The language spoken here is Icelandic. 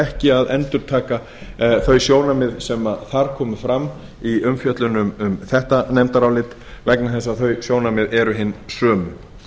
ekki að endurtaka þau sjónarmið sem þar komu fram í umfjöllun um þetta nefndarálit vegna þess að þau sjónarmið eru hin sömu